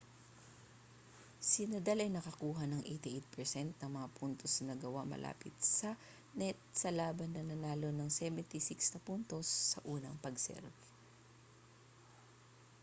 si nadal ay nakakuha ng 88% ng mga puntos na nagawa malapit sa net sa laban nanalo ng 76 na puntos sa unang pag-serve